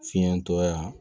Fiɲɛ tɔ ye yan